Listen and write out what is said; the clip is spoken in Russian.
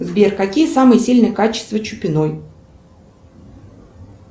сбер какие самые сильные качества чупиной